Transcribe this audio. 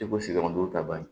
I ko sigi ta ban